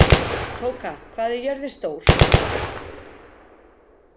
Tóka, hvað er jörðin stór?